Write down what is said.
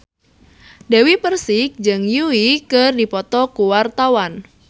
Dewi Persik jeung Yui keur dipoto ku wartawan